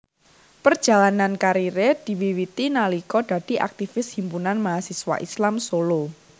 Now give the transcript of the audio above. Perjalanan kariere diwiwiti nalika dadi aktivis Himpunan Mahasiswa Islam Solo